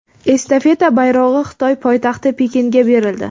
Estafeta bayrog‘i Xitoy poytaxti Pekinga berildi.